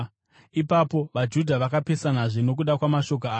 Ipapo vaJudha vakapesanazve nokuda kwamashoko aya.